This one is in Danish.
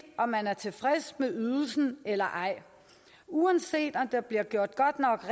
om man er tilfreds med ydelsen eller ej uanset om der bliver gjort godt nok